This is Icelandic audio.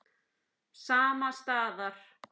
Sama staðar.